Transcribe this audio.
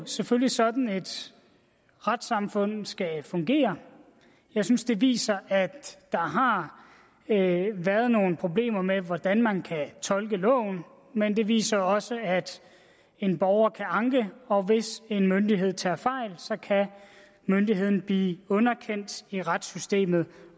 selvfølgelig sådan et retssamfund skal fungere jeg synes det viser at der har været nogle problemer med hvordan man kan tolke loven men det viser også at en borger kan anke og hvis en myndighed tager fejl kan myndigheden blive underkendt i retssystemet